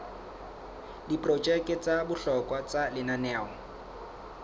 diprojeke tsa bohlokwa tsa lenaneo